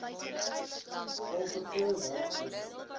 al verskeie werkswinkels